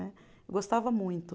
Né. Eu gostava muito.